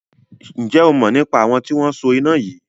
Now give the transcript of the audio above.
Ǹjẹ́ o mọ̀ nípa àwọn tí wọn so iná yìí?